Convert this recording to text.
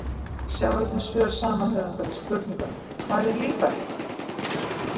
Sjá einnig svör sama höfundar við spurningunum: Hvað er líparít?